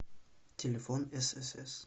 телефон ссс